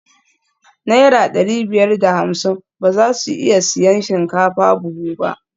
Naira dari biyar da hamsin ba za su iya siyan shinkafa buhu ba